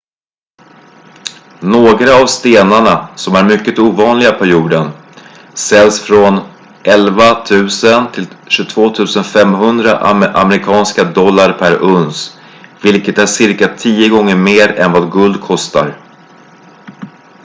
några av stenarna som är mycket ovanliga på jorden säljs från 11 000 till 22 500 amerikanska dollar per uns vilket är cirka tio gånger mer än vad guld kostar